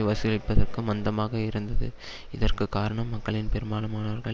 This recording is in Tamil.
வசூலிப்பதற்கு மந்தமாக இருந்தது இதற்கு காரணம் மக்களில் பெரும்பாலமானவர்கள்